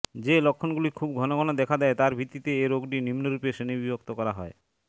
যে লক্ষণগুলি খুব ঘন ঘন দেখা দেয় তার ভিত্তিতে এ রোগটি নিম্নরূপে শ্রেণিবিভক্ত করা হয়